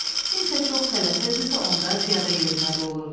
Kimsə çox tələsirdisə, onda piyada yeriməli olurdu.